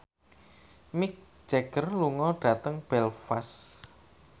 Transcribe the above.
Mick Jagger lunga dhateng Belfast